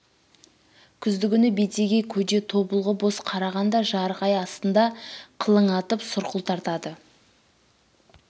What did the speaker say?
күздігүні бетеге көде тобылғы боз қараған да жарық ай астында қылаңытып сұрқыл тартады